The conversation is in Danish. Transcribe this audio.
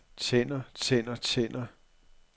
tænder tænder tænder